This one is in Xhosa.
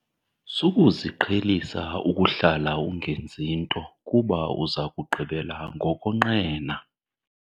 Sukuziqhelisa ukuhlala ungenzi nto kuba uza kugqibela ngokonqena.